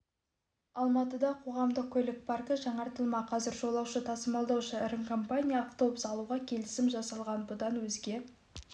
алматыда қоғамдық көлік паркі жаңартылмақ қазір жолаушы тасылдаушы ірі компания автобус алуға келісім жасалған бұдан өзге